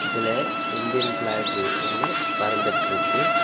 இதுல Indian flag ஒன்னு பறந்துட்ருக்கு.